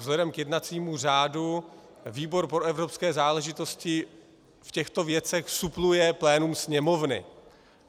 Vzhledem k jednacímu řádu výbor pro evropské záležitosti v těchto věcech supluje plénum Sněmovny.